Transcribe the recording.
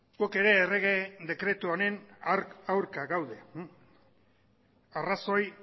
gu ere errege dekretu honen aurka gaude arrazoi